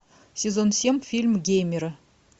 сезон семь фильм геймеры